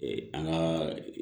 Ee an ka